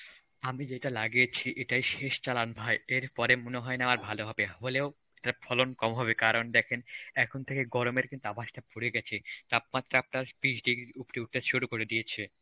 আমি যেইটা লাগিয়েছি, এটাই শেষ চালান ভাই. এর পরে আর মনে হয় না ভালো হবে. হলেও তার ফলন কম হবে দেখেন এখন থেকে গরমের কিন্তু আভাসটা পরে গেছে তাপমাত্রা আপনার ত্রিশ degree এর উপরে উঠা শুরু করে দিয়েছে.